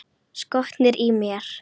Skotnir í mér?